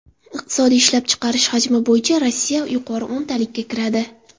Iqtisodiy ishlab chiqarish hajmi bo‘yicha Rossiya yuqori o‘ntalikka kiradi.